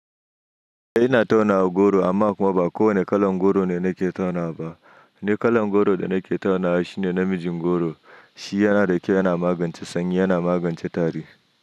Eh ina tauna goro amma kuma ba kowane kalan goro ne nake tauna ba, wane kalan goro da nake tauna shi ne namijin goro, shi yana da kyau yana magance sanyi yana magance tari.